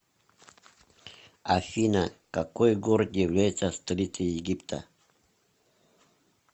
афина какой город является столицей египта